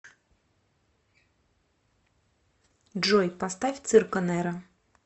джой поставь цирко неро